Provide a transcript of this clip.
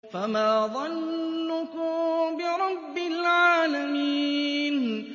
فَمَا ظَنُّكُم بِرَبِّ الْعَالَمِينَ